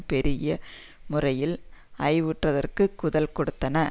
பெருகிய முறையில் ஐயுறவாதத்திற்கு குதல் கொடுத்தன